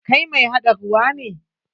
Kai mai haɗa ruwa ne?